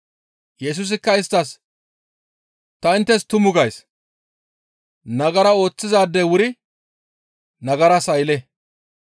Yesusikka isttas, «Ta inttes tumu gays; nagara ooththizaadey wuri nagaras aylle;